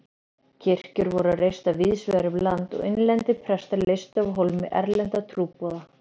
Kirkjur voru reistar víðsvegar um land og innlendir prestar leystu af hólmi erlenda trúboða.